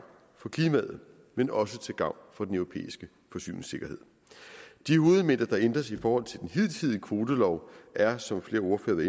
for klimaet men også til gavn for den europæiske forsyningssikkerhed de hovedelementer der ændres i forhold til den hidtidige kvotelov er som flere ordførere